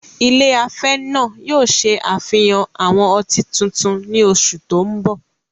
Ilé afẹ́ náà yóò ṣe àfihàn àwọn ọtí tuntun ní oṣù tó ń bọ̀.